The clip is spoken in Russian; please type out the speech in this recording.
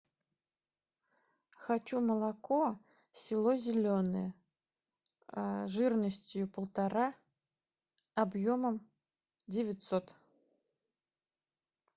хочу молоко село зеленое жирностью полтора объемом девятьсот